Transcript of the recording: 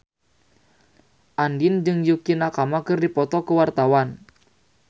Andien jeung Yukie Nakama keur dipoto ku wartawan